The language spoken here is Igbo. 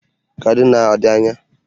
Kaduna ọ dị anya?